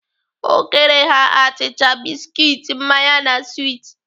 O kere ha achịcha, biskit, mmanya na swit.